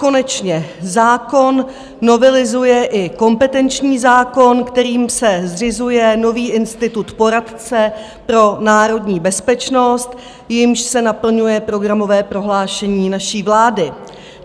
Konečně zákon novelizuje i kompetenční zákon, kterým se zřizuje nový institut poradce pro národní bezpečnost, jímž se naplňuje programové prohlášení naší vlády.